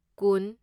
ꯀꯨꯟ